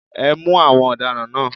Ẹ mú àwọn ọ̀daràn náà.